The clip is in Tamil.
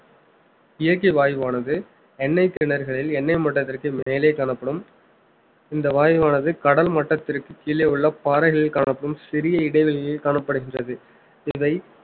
இயற்கை வாயுவானது எண்ணெய் கிணறுகளில் எண்ணெய் மட்டத்திற்கு மேலே காணப்படும் இந்த வாயுவானது கடல் மட்டத்திற்கு கீழே உள்ள பாறைகளில் காணப்படும் சிறிய இடைவெளியில் காணப்படுகின்றது இதை